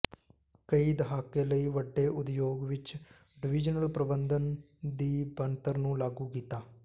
ਕਈ ਦਹਾਕੇ ਲਈ ਵੱਡੇ ਉਦਯੋਗ ਵਿੱਚ ਡਿਵੀਜ਼ਨਲ ਪ੍ਰਬੰਧਨ ਦੀ ਬਣਤਰ ਨੂੰ ਲਾਗੂ ਕੀਤਾ